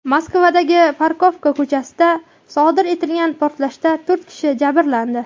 Moskvadagi Pokrovka ko‘chasida sodir etilgan portlashda to‘rt kishi jabrlandi.